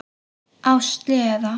Á sleða.